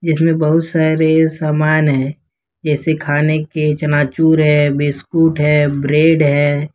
इसमें बहुत सारे सामान है इसे खाने के चना चूर है बिस्कुट है ब्रेड है।